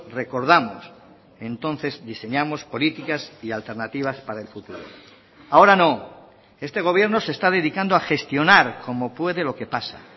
recordamos entonces diseñamos políticas y alternativas para el futuro ahora no este gobierno se está dedicando a gestionar como puede lo que pasa